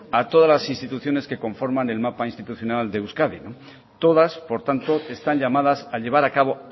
a todas las instituciones que conforman el mapa institucional de euskadi todas por tanto están llamadas a llevar a cabo